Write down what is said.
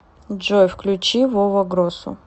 джой включи вова гросу